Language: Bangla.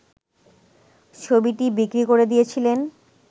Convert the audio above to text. ছবিটি বিক্রি করে দিয়েছিলেন